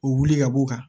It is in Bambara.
O wuli ka b'o kan